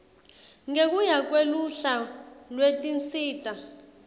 ngekuya kweluhla lwetinsita